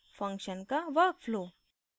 function का work flow